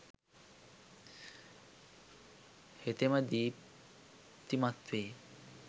හෙතෙම දීප්තිමත් වේ.